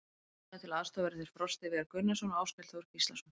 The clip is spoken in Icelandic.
Honum til aðstoðar verða þeir Frosti Viðar Gunnarsson og Áskell Þór Gíslason.